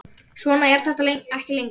Svona er þetta ekki lengur.